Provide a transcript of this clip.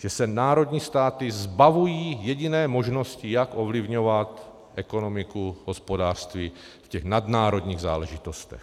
Že se národní státy zbavují jediné možnosti, jak ovlivňovat ekonomiku, hospodářství v těch nadnárodních záležitostech.